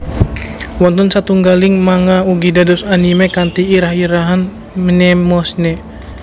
Wonten satunggaling manga ugi dados anime kanthi irah irahan Mnemosyne